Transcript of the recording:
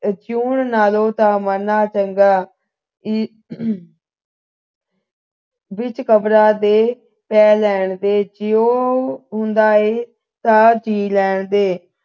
ਜਿਉਣ ਨਾਲੋਂ ਮਰਨਾ ਚੰਗਾ ਵਿੱਚ ਕਬਰਾਂ ਦੇ ਪੈ ਲੈਣ ਦੇ ਜਿਉਂ ਹੁੰਦਾ ਹੈ ਤਾਂ ਜੀ ਲੈਣ ਦੇ